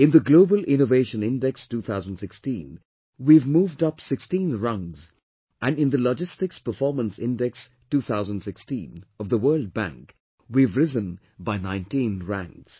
In the Global Innovation Index 2016, we have moved up 16 rungs and in the Logistics Performance Index 2016 of the World Bank, we have risen by 19 ranks